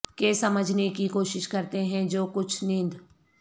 کے سمجھنے کی کوشش کرتے ہیں جو کچھ نیند